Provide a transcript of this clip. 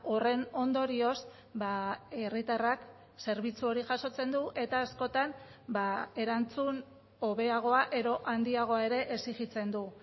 horren ondorioz herritarrak zerbitzu hori jasotzen du eta askotan erantzun hobeagoa edo handiago ere exijitzen du